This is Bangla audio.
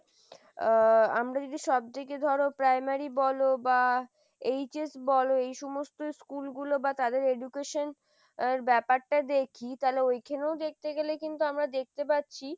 আহ আমরা যদি সব থেকে ধরো primary বলো বা HS বলো এই সমস্তschool গুলো বা তাদের education আহ ব্যাপারটা দেখি তাহলে ওইখানেও দেখতে গেলে কিন্তু আমরা দেখতে পাচ্ছি;